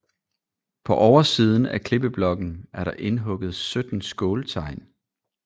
På oversiden af klippeblokken er der indhugget 17 skåltegn